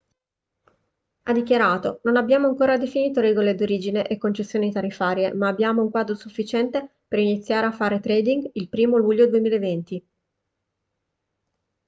ha dichiarato non abbiamo ancora definito regole d'origine e concessioni tariffarie ma abbiamo un quadro sufficiente per iniziare a fare trading il 1° luglio 2020